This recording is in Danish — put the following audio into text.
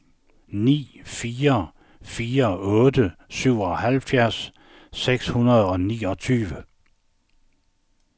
ni fire fire otte syvoghalvfjerds seks hundrede og niogtyve